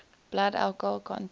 blood alcohol content